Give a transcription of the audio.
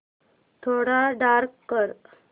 थोडा डार्क कर